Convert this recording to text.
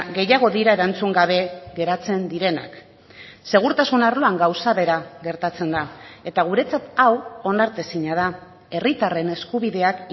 gehiago dira erantzun gabe geratzen direnak segurtasun arloan gauza bera gertatzen da eta guretzat hau onartezina da herritarren eskubideak